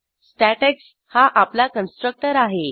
statics हा आपला constructor आहे